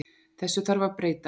Þessu þarf að breyta.